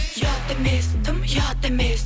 ұят емес дым ұят емес